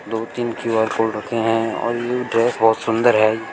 दो तीन Q R code रखे हैं और ए ड्रेस बहोत सुंदर है।